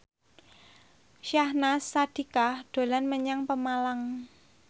Syahnaz Sadiqah dolan menyang Pemalang